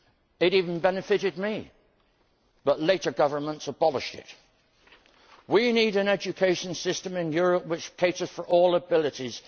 It even benefited me, but later governments abolished it. We need an education system in Europe which caters for all abilities.